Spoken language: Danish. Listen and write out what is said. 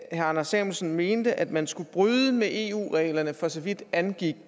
anders samuelsen mente at man skulle bryde med eu reglerne for så vidt angik